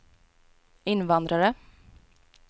invandrare